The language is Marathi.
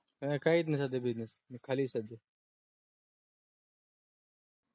काहीच नाय सध्या business खाली ये सध्या पूर्ण.